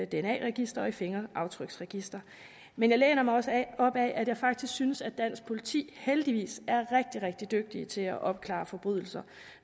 dna register og i fingeraftryksregister men jeg læner mig også op ad at jeg faktisk synes at dansk politi heldigvis er rigtig rigtig dygtige til at opklare forbrydelser